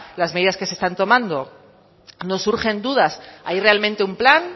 las medidas que se están tomando nos surgen dudas hay realmente un plan